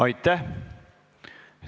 Aitäh!